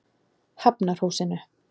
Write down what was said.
Hafnarhúsinu